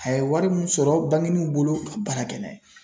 A ye wari min sɔrɔ banginuw bolo ka baara kɛ n'a ye